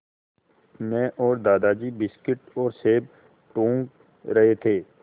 मैं और दादाजी बिस्कुट और सेब टूँग रहे थे